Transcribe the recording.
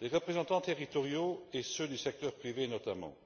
les représentants territoriaux, et ceux du secteur privé notamment.